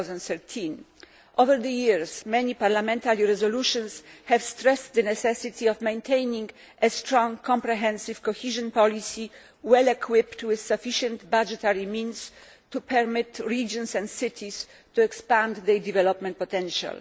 2013. Over the years, many parliamentary resolutions have stressed the necessity of maintaining a strong, comprehensive cohesion policy, well equipped with sufficient budgetary means to permit regions and cities to expand their development potential.